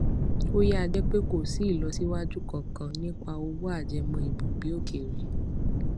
ó yà jẹ pé kò sí ìlọsíwájú kankan nípa òwò ajẹmọ ibùgbé òkèèrè